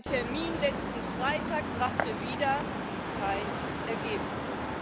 Ein Termin letzten Freitag brachte wieder kein Ergebnis.